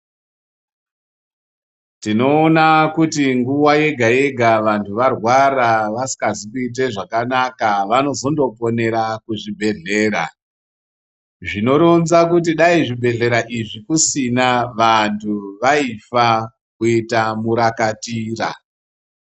Tinoona kuti nguwa yega-yega vantu varwara vasikazi kuite zvakanaka vanozondoponera kuzvibhedhlera. Zvinoronza kuti dai zvibhedhlera izvi kusina vantu vaifa kuita murakatira.